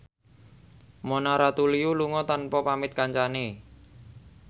Mona Ratuliu lunga tanpa pamit kancane